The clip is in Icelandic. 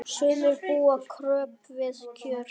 Sumir búa kröpp við kjör.